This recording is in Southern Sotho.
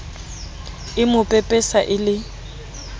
e mo pepesa e le